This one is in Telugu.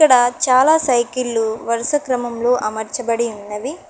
ఇక్కడ చాలా సైకిళ్ళు వరుస క్రమంలో అమర్చబడి ఉన్నవి.